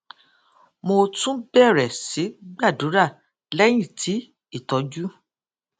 mo tún bèrè sí gbàdúrà léyìn tí ìtójú